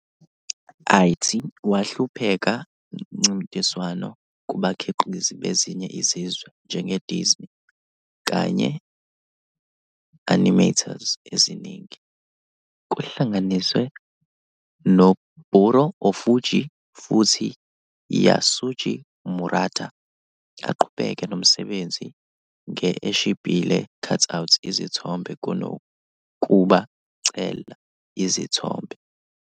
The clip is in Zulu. It wahlupheka mncintiswano kubakhiqizi bezinye izizwe, njenge-Disney, kanye Animators eziningi, kuhlanganise Noburō Ōfuji futhi Yasuji Murata, aqhubeka nomsebenzi nge eshibhile cutout izithombe kunokuba cel izithombe.